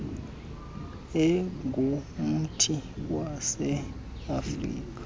engumthi wase afirika